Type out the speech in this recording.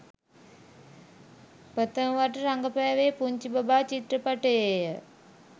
ප්‍රථම වරට රඟපෑවේ පුංචි බබා චිත්‍රපටයේය